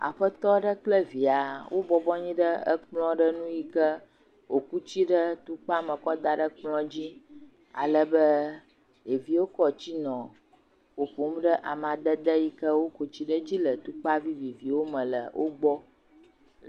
aƒetɔɖe kple via wó bɔbɔnyi ɖe ekplɔ̃ ɖe nu yike wò ku tsi ɖe tukpa me kɔ daɖe kplɔ̃ dzi alebe ɖeviwo kɔ tsi nɔ ƒoƒom ɖe amadede yike wó ku tsi ɖe dzi le tukpavi me le kplɔ̃ dzi